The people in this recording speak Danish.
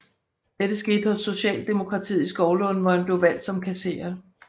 Dette skete hos Socialdemokratiet i Skovlunde hvor han blev valgt som kasserer